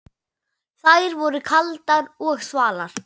Þær voru kaldar og þvalar.